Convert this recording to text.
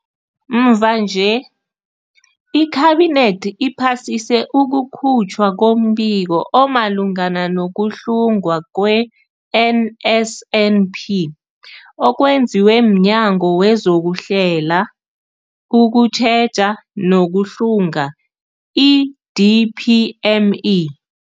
Mvanje, iKhabinethi iphasise ukukhutjhwa kombiko omalungana no-kuhlungwa kwe-NSNP okwenziwe mNyango wezokuHlela, ukuTjheja nokuHlunga, i-DPME.